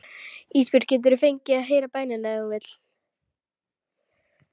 Ísbjörg getur fengið að heyra bænina ef hún vill.